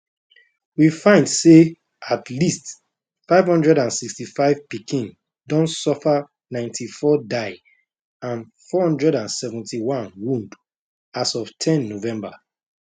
we find say at least 565 pikin don suffer 94 die and 471 wound as of ten november